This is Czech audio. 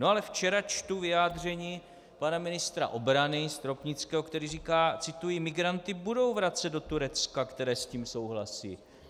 No ale včera čtu vyjádření pana ministra obrany Stropnického, který říká - cituji: "Migranty budou vracet do Turecka, které s tím souhlasí."